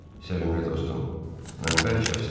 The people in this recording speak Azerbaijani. Sevgili dostum, mən bərk xəstəyəm.